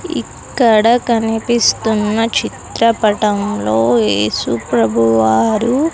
ఇక్కడ కనిపిస్తున్న చిత్రపటంలో ఏసుప్రభు వారు.